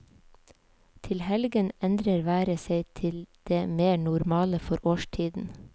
Til helgen endrer været seg til det mer normale for årstiden.